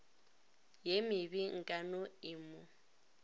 ye mebe nkano e mo